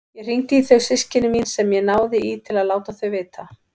Ég hringdi í þau systkini mín sem ég náði í til að láta þau vita.